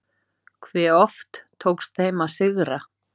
Hve oft tókst þeim að sigra?